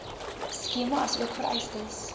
skema asook vereistes